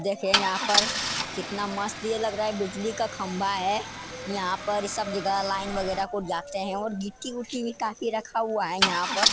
देखिए यहाँ पर कितना मस्त ये लग रा है। बिजली का खम्बा है। यहाॅं पर सब जगह लाईन वगेरा को जाते हैं और गिट्टी उट्टी भी काफी रखा हुआ यहाँ पर।